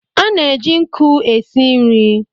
A na-eji nkụ e si nri.